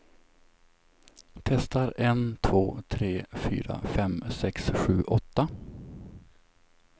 Testar en två tre fyra fem sex sju åtta.